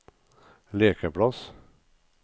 lekeplass